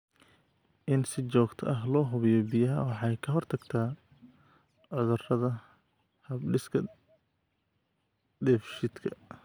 In si joogto ah loo hubiyo biyaha waxay ka hortagtaa cudurrada hab-dhiska dheefshiidka.